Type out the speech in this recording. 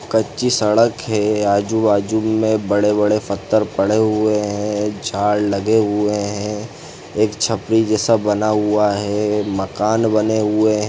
कच्ची सड़क है आजू-बाजू मे बड़े-बड़े पत्थर पड़े हुए है झाड़ लगे हुए है एक छपरी जैसा बना हुआ है मकान बने हुए है।